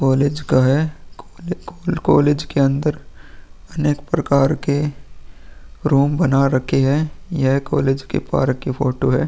College का है कोल्ले कोले कॉलेज के अंदर अनेक प्रकार के रूम बना रखे है यह कॉलेज के पार्क की फोटो है।